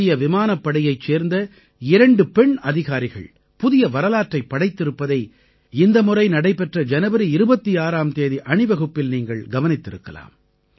இந்திய விமானப்படையைச் சேர்ந்த இரண்டு பெண் அதிகாரிகள் புதிய வரலாற்றைப் படைத்திருப்பதை இந்தமுறை நடைபெற்ற ஜனவரி 26ஆம் தேதி அணிவகுப்பில் நீங்கள் கவனித்திருக்கலாம்